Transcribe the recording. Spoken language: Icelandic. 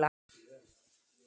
Mynd: Jólasveinarnir.